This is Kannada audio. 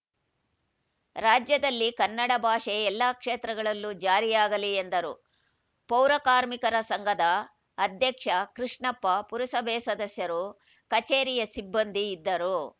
ರಾಜ್ಯದಲ್ಲಿ ಕನ್ನಡ ಭಾಷೆ ಎಲ್ಲ ಕ್ಷೇತ್ರಗಳಲ್ಲೂ ಜಾರಿಯಾಗಲಿ ಎಂದರು ಪೌರಕಾರ್ಮಿಕರ ಸಂಘದ ಅಧ್ಯಕ್ಷ ಕೃಷ್ಣಪ್ಪ ಪುರಸಭೆ ಸದಸ್ಯರು ಕಚೇರಿಯ ಸಿಬ್ಬಂದಿ ಇದ್ದರು